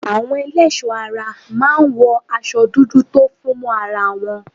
Àwọn ẹlẹ́ẹ̀ṣọ́ ara máa ń wọ aṣo dúdú tó fún mọ́ ara wọn.